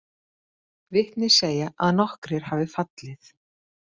Vitni segja að nokkrir hafi fallið